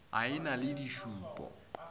a e na le dišupo